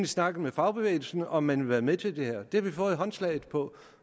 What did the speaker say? snakket med fagbevægelsen om man vil være med til det her det har vi fået håndslag på